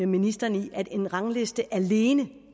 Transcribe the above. ministeren i at en rangliste alene